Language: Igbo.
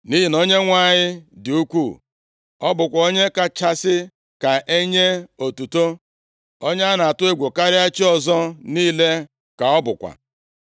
Nʼihi na Onyenwe anyị dị ukwuu, ọ bụkwa onye kachasị ka e nye otuto. Onye a na-atụ egwu karịa chi ọzọ niile ka ọ bụkwa.